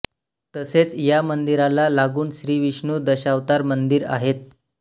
तसेच या मंदिराला लागून श्री विष्णू दशावतार मंदिर आहेत